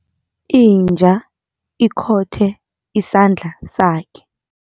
Inja ikhothe isandla sakhe.